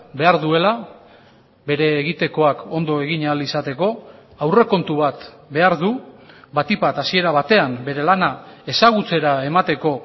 behar duela bere egitekoak ondo egin ahal izateko aurrekontu bat behar du batik bat hasiera batean bere lana ezagutzera emateko